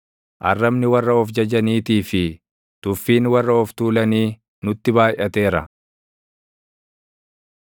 Arrabni warra of jajaniitii fi tuffiin warra of tuulanii nutti baayʼateera.